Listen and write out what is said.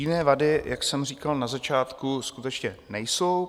Jiné vady, jak jsem říkal na začátku, skutečně nejsou.